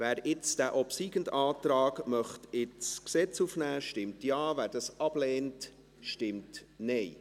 Wer jetzt diesen obsiegenden Antrag ins Gesetz aufnehmen möchte, stimmt Ja, wer das ablehnt, stimmt Nein.